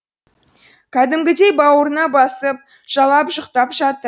кәдімгідей бауырына басып жалап жұқтап жатыр